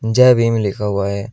जय भीम लिखा हुआ है।